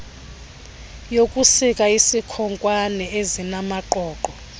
yokusika izikhonkwane ezinamaqoqo